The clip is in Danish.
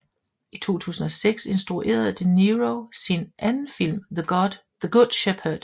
I 2006 instruerede De Niro sin anden film The Good Shepherd